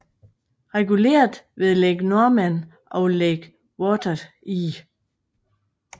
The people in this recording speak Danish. Reguleret ved Lake Norman og Lake Wateree